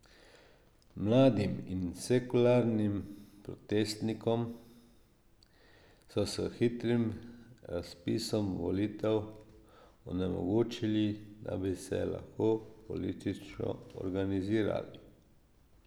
Mladim in sekularnim protestnikom so s hitrim razpisom volitev onemogočili, da bi se lahko politično organizirali.